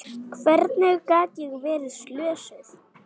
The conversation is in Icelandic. Hvernig gat ég verið slösuð?